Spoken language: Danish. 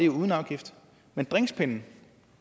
uden afgift men drinkspinden